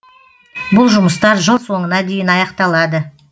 бұл жұмыстар жыл соңына дейін аяқталады